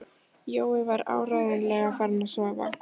Jói var áreiðanlega farinn að sofa.